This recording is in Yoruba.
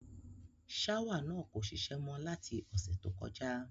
Ṣáwà náà kò šiṣẹ́ mọ́ láti ọ̀sẹ̀ tó kọjá.